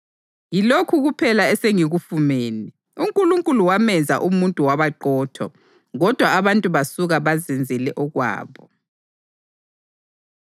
Yilokhu kuphela esengikufumene: UNkulunkulu wamenza umuntu wabaqotho, kodwa abantu basuka bazenzele okwabo.”